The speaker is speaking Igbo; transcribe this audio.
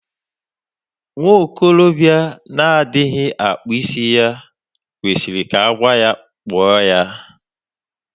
Nwa okorobịa na-adịghị akpụ isí ya kwesịrị ka agwa ya kpụọ ya.